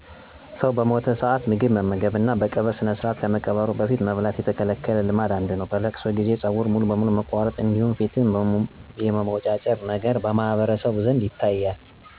ሰው በሞተ ሰዓት ምግብ መመገብ እና በቀብር ሰዓት ከመቀበሩ በፊት መብላት የተከለከለ ልማድ አንዱ ነው። በ'ለቅሶ' ጊዜ ፀጉር ሙሉ በሙሉ መቆረጥ እንዲሁም ፊትን የመቦጫጨር ነገር በማህበረሰቡ ዘንድ ይታያል።